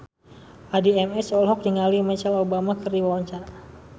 Addie MS olohok ningali Michelle Obama keur diwawancara